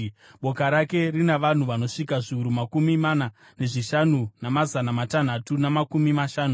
Boka rake rina vanhu vanosvika zviuru makumi mana nezvishanu, namazana matanhatu namakumi mashanu.